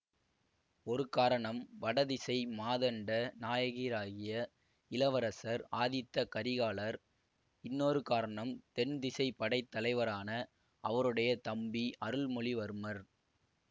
ஒரு காரணம் வடதிசை மாதண்ட நாயகராகிய இளவரசர் ஆதித்த கரிகாலர் இன்னொரு காரணம் தென் திசைப் படை தலைவரான அவருடைய தம்பி அருள்மொழிவர்மர்